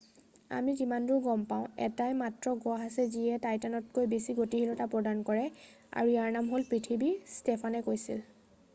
আমি যিমানদূৰ গম পাওঁ এটাই মাত্ৰ গ্ৰহ আছে যিয়ে টাইটানতকৈ বেছি গতিশীলতা প্ৰদৰ্শন কৰে আৰু ইয়াৰ নাম হ'ল পৃথিৱী ষ্টোফানে কৈছিল